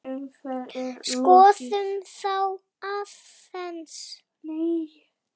Skoðum þá aðeins.